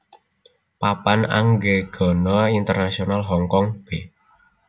Papan Anggegana Internasional Hong Kong b